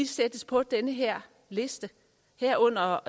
sættes på den her liste herunder